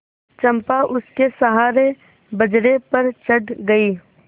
चंपा उसके सहारे बजरे पर चढ़ गई